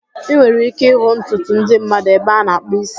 Ị nwere ike ịhụ ọtụtụ ndị mmadụ ebe ana akpụ ísí